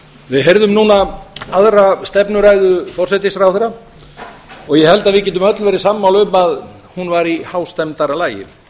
við heyrðum núna aðra stefnuræðu nýs forsætisráðherra og ég held að við getum öll verið sammála um að ræðan var í hástemmdara lagi